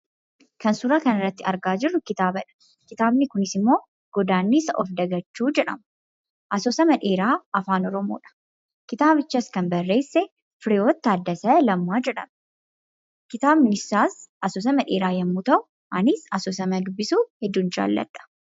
Kan suuraa kanarratti argaa jirru kitaabadha. Kitaabni kunis 'Godaannisa Of Dagachuu' jedhama. Asoosama dheeraa Afaan Oromoodha. Kitaabichas kan barreesse Fireewoot Taaddasee Lammaa jedhama. Kitaabni isaas asoosama dheeraa yoo ta'u anis dubbisuu hedduun jaalladha.